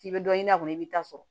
K'i bɛ dɔ ɲini a kɔnɔ i b'i ta sɔrɔ